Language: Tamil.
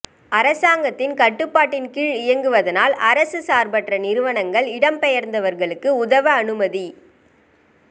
அரசாங்கத்தின் கட்டுப்பாட்டின் கீழ் இயங்குவதானால் அரச சார்பற்ற நிறுவனங்கள் இடம்பெயர்ந்தவர்களுக்கு உதவ அனுமதி